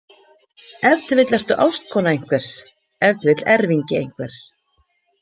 Ef til vill ertu ástkona einhvers, ef til vill erfingi einhvers.